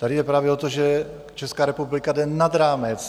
Tady jde právě o to, že Česká republika jde nad rámec.